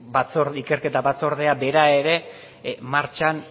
ikerketa batzordea bera ere martxan